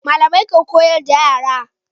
Malamai ke koyar da yara